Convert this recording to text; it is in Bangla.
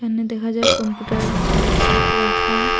এখানে দেখা যায় কম্পুটার ল্যাপটপ রাখা।